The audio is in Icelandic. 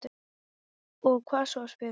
Og hvað svo, spyr hún.